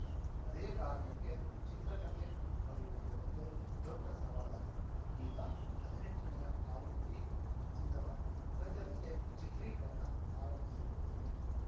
ಅದೇ ಕಾರಣಕ್ಕೆ ಚಿತ್ರಕತೆ ಬರೆಯುವುದೇ ಒಂದು ದೊಡ್ಡ ಸವಾಲಾಗಿತ್ತು ಈಗ ಹದಿನೆಂಟನೆಯ ಆವೃತ್ತಿ ಸಿದ್ಧವಾಗಿದೆ ಸದ್ಯದಲ್ಲೇ ಚಿತ್ರೀಕರಣ ಆರಂಭಿಸಲಿದ್ದೇನೆ